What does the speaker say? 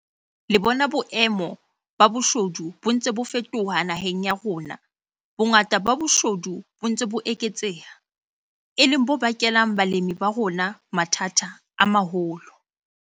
Le bona boemo ba boshodu bo ntse bo fetoha naheng ya rona bongata ba boshodu bo ntse bo eketseha, e leng bo bakelang balemi ba rona mathata a maholo.